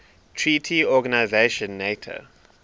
treaty organisation nato